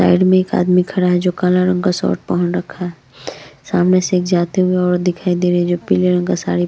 side में एक आदमी खड़ा है जो काले रंग का शर्ट पहन रखा है सामने से एक जाते हुए औरत दिखई दे रही है जिसने पीले रंग की साड़ी--